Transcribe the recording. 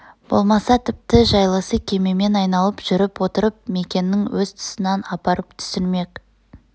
болмаса тіпті жайлысы кемемен айналып жүрп отырып мекенің өз тұсынан апарып түсірмек